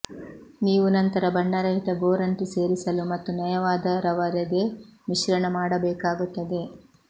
ನೀವು ನಂತರ ಬಣ್ಣರಹಿತ ಗೋರಂಟಿ ಸೇರಿಸಲು ಮತ್ತು ನಯವಾದ ರವರೆಗೆ ಮಿಶ್ರಣ ಮಾಡಬೇಕಾಗುತ್ತದೆ